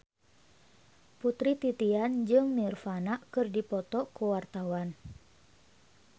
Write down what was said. Putri Titian jeung Nirvana keur dipoto ku wartawan